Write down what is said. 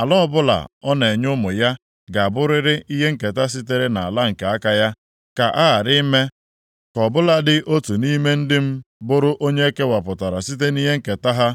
Ala ọbụla ọ na-enye ụmụ ya ga-abụrịrị ihe nketa sitere nʼala nke aka ya. Ka a ghara ime ka ọ bụladị otu nʼime ndị m bụrụ onye e kewapụrụ site nʼihe nketa ha.’ ”